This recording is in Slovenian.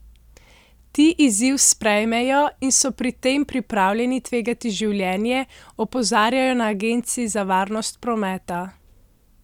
Ti izziv sprejmejo in so pri tem pripravljeni tvegati življenje, opozarjajo na agenciji za varnost prometa.